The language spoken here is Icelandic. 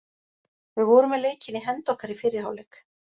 Við vorum með leikinn í hendi okkar í fyrri hálfleik.